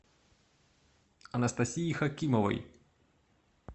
анастасии хакимовой